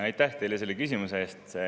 Aitäh teile selle küsimuse eest!